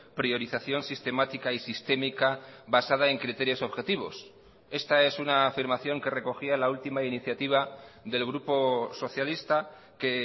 priorización sistemática y sistémica basada en criterios objetivos esta es una afirmación que recogía la última iniciativa del grupo socialista que